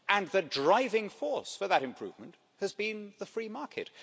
The driving force for that improvement has been the free market.